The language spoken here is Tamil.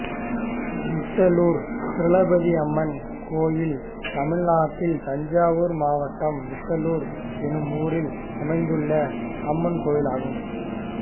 விட்டலூர் திரௌபதியம்மன் கோயில் தமிழ்நாட்டில் தஞ்சாவூர் மாவட்டம் விட்டலூர் என்னும் ஊரில் அமைந்துள்ள அம்மன் கோயிலாகும்